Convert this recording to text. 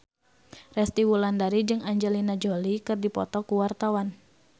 Resty Wulandari jeung Angelina Jolie keur dipoto ku wartawan